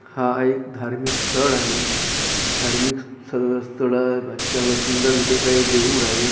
हा एक धार्मिक स्थळ आहे धार्मिक स्थ स्थळाच्या सुंदर अस काही देऊळ आहे दे--